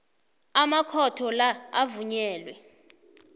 amakhotho la avunyelwe